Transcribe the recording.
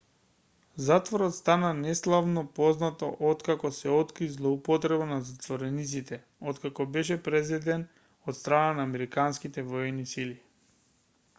затворот стана неславно познат откако се откри злоупотреба на затворениците откако беше презеден од страна на американските воени сили